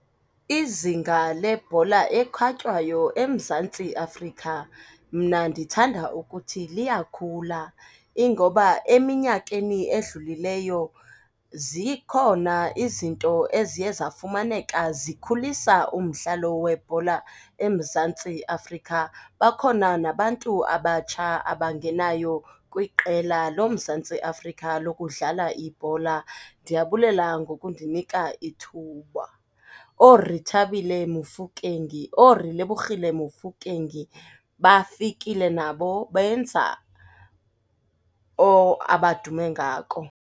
Izinga lebhola ekhatywayo eMzantsi Afrika, mna ndithanda ukuthi liyakhula. Ingoba eminyakeni edlulileyo zikhona izinto eziye zafumaneka zikhulisa umdlalo webhola eMzantsi Afrika, bakhona nabantu abatsha abangenayo kwiqela loMzantsi Afrika lokudlala ibhola. Ndiyabulela ngokundinika ithuba. OoRetabile Mofokeng, ooRelebokgele Mofokeng bafikile nabo benza abadume ngako.